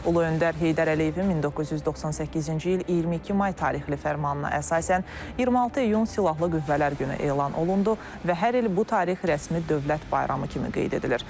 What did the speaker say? Ulu Öndər Heydər Əliyevin 1998-ci il 22 may tarixli fərmanına əsasən 26 iyun Silahlı Qüvvələr günü elan olundu və hər il bu tarix rəsmi dövlət bayramı kimi qeyd edilir.